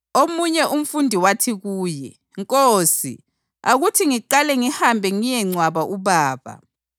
Omunye umfundi wathi kuye, “Nkosi, akuthi ngiqale ngihambe ngiyengcwaba ubaba.”